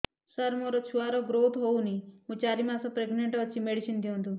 ସାର ମୋର ଛୁଆ ର ଗ୍ରୋଥ ହଉନି ମୁ ଚାରି ମାସ ପ୍ରେଗନାଂଟ ଅଛି ମେଡିସିନ ଦିଅନ୍ତୁ